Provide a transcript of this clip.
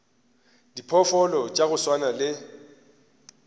diphoofolo tša go swana le